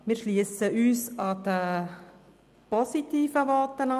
Wir schliessen uns den positiven Voten an.